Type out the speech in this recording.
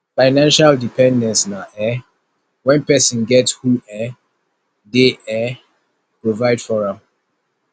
financial dependence na um when persin get who um de um provide for am